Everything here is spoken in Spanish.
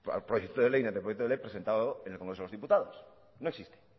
proyecto de ley ni anteproyecto de ley presentado en el congreso de los diputados no existe